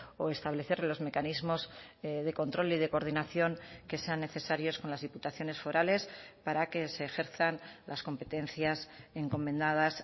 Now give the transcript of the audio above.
o establecer los mecanismos de control y de coordinación que sean necesarios con las diputaciones forales para que se ejerzan las competencias encomendadas